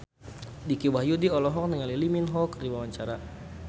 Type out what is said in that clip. Dicky Wahyudi olohok ningali Lee Min Ho keur diwawancara